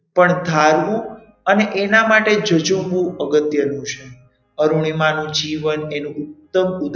પણ ધારવું અને એના માટે જજુમવું અગત્યનું છે અરુણિમા નું જીવન એનું ઉત્તમ ઉદાહરણ